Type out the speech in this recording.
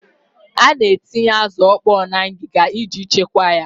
A na-etinye azụ ọkpọọ na ngịga iji chekwaa ya.